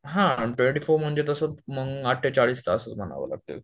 हा twenty four म्हणजे तसं मग अठेचाळीस तास च म्हणावे लागतील